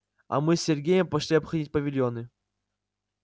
а мы с сергеем пошли обходить павильоны